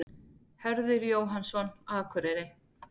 Hörður Jóhannsson, Akureyri